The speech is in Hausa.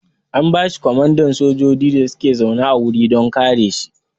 An bashi komandan sojoji da suke zaune a wuri don kare shi